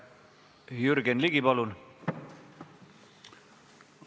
Jürgen Ligi, palun!